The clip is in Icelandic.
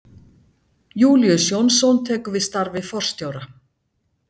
Júlíus Jónsson tekur við starfi forstjóra